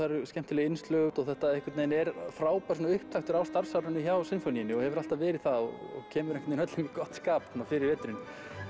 eru skemmtileg innslög og þetta einhvern veginn er frábær svona upptaktur á starfsárinu hjá Sinfóníunni og hefur alltaf verið það og kemur einhvern öllum í gott skap fyrir veturinn